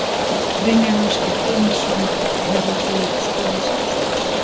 Brynjar Ásgeir Guðmundsson Hefurðu skorað sjálfsmark?